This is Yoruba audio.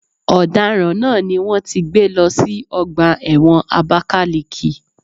Ọ̀daràn náà ni wón ti gbé lọ sí ọgbà ẹ̀wọ̀n Abakaliki.